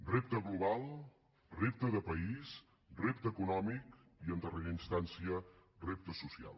repte global repte de país repte econòmic i en darrera instància repte social